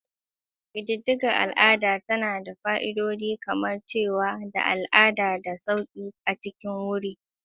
Ƙididdigar al'ada tana da fa'idodi kamar dacewa da al'adu da sauƙi a cikin wuri.